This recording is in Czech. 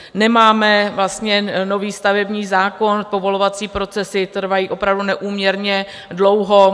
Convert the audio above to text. Nemáme vlastně nový stavební zákon, povolovací procesy trvají opravdu neúměrně dlouho.